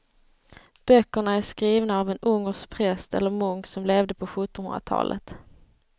Böckerna är skrivna av en ungersk präst eller munk som levde på sjuttonhundratalet.